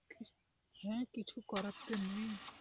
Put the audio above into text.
হ্যাঁ কিছু করার তো নেই।